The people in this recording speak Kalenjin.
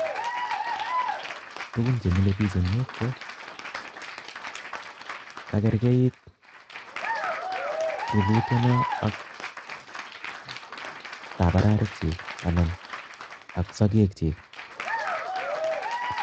Tugun chemile biik en yuh ko kargeit rurutyonon ak tabarariekyik anan ak sogeekchik